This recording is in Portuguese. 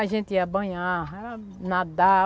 A gente ia banhar, nadar.